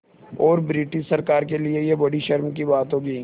और ब्रिटिश सरकार के लिये यह बड़ी शर्म की बात होगी